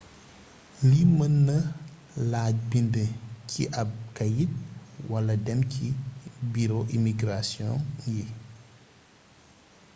lii mën na laaj bind ci ab kayit wala dem ci buro imigrasion yi